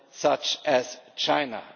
such as China.